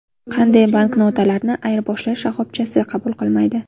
Qanday banknotalarni ayirboshlash shoxobchasi qabul qilmaydi?.